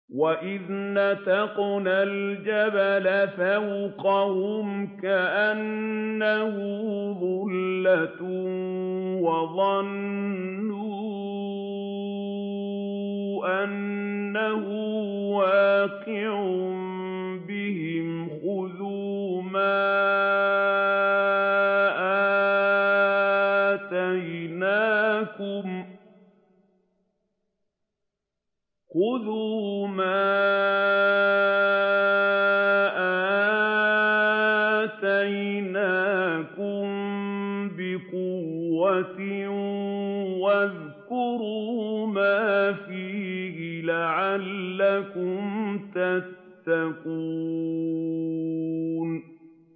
۞ وَإِذْ نَتَقْنَا الْجَبَلَ فَوْقَهُمْ كَأَنَّهُ ظُلَّةٌ وَظَنُّوا أَنَّهُ وَاقِعٌ بِهِمْ خُذُوا مَا آتَيْنَاكُم بِقُوَّةٍ وَاذْكُرُوا مَا فِيهِ لَعَلَّكُمْ تَتَّقُونَ